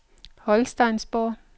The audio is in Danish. Holsteinsborg